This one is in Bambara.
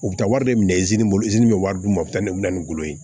U bɛ taa wari de minɛ bolo bɛ wari d'u ma u bɛ taa ne bɛ na ni golo ye